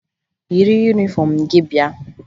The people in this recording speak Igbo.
Yiri yunifọmụ gị bịa!